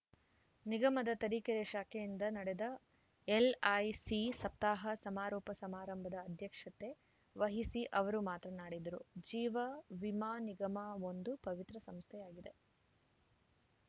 ನಿಗಮದ ತರೀಕೆರೆ ಶಾಖೆಯಿಂದ ನಡೆದ ಎಲ್‌ಐಸಿ ಸಪ್ತಾಹ ಸಮಾರೋಪ ಸಮಾರಂಭದ ಅಧ್ಯಕ್ಷತೆ ವಹಿಸಿ ಅವರು ಮಾತನಾಡಿದರು ಜೀವವಿಮಾ ನಿಗಮ ಒಂದು ಪವಿತ್ರ ಸಂಸ್ಥೆಯಾಗಿದೆ